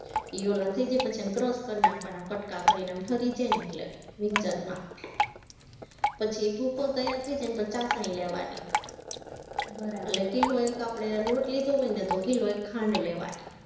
ઈ ઓલા થઇ જાય પછી એને crush કરી નાખવાના, કટકા કરીને આમ ઠરી જાય ને એટલે પછી ભૂકો તૈયાર થઇ જાય ને પછી ચાસણી લેવાની એટલે કિલો એક આપણે લોટ લીધો હોય ને તો કિલો એક ખાંડ લેવાની